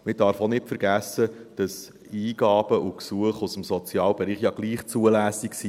Man darf auch nicht vergessen, dass Eingaben und Gesuche aus dem Sozialbereich ja trotzdem zulässig sind.